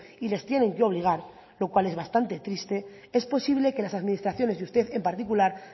y les tienen que obligar lo cual es bastante triste es posible que las administraciones y usted en particular